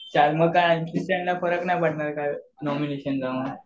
M C स्टॅनला फरक नाही पडणार काय नॉमिनेशनचा